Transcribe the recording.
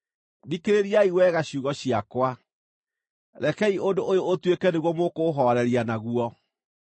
“Thikĩrĩriai wega ciugo ciakwa; rekei ũndũ ũyũ ũtuĩke nĩguo mũkũũhooreria naguo.